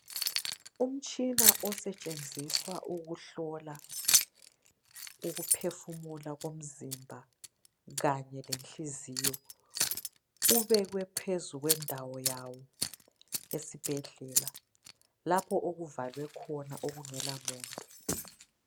umtshina osetshenziswa ukuhlolwa ukuphefumula komzimba kanye lenhliziyo ubekwe phezulu kwendawo yawo esibhedlela lapho okuvalwe khona okungela muntu